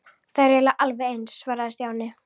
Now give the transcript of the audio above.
Þær eru eiginlega alveg eins svaraði Stjáni.